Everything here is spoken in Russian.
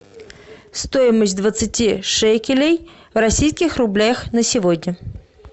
стоимость двадцати шекелей в российских рублях на сегодня